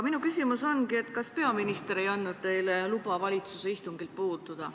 Minu küsimus ongi, kas peaminister ei andnud teile luba valitsuse istungilt puududa.